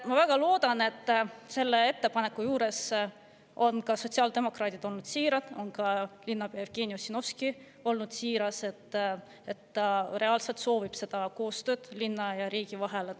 Ma väga loodan, et selle ettepaneku puhul on sotsiaaldemokraadid olnud siirad, on ka linnapea Jevgeni Ossinovski olnud siiras ning ta reaalselt soovib seda koostööd linna ja riigi vahel.